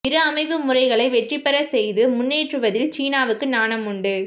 இரு அமைப்பு முறைகளை வெற்றிபெறச் செய்து முன்னேற்றுவதில் சீனாவுக்கு ஞானம் உண்டு